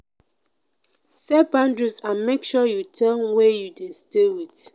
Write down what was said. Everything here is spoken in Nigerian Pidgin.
set boundaries and make sure you tell wey you de stay wit